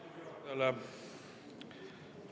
Aitäh istungi juhatajale!